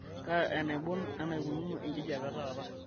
kaa enaibon eneikununo enkijiape taata